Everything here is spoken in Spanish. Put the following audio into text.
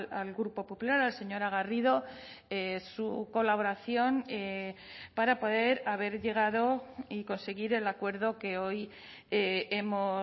al grupo popular a la señora garrido su colaboración para poder haber llegado y conseguir el acuerdo que hoy hemos